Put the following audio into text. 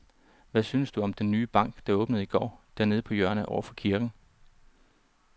Hvad synes du om den nye bank, der åbnede i går dernede på hjørnet over for kirken?